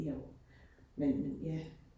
Jo, men men ja